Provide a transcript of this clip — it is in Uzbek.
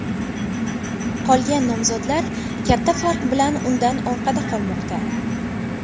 Qolgan nomzodlar katta farq bilan undan orqada qolmoqda.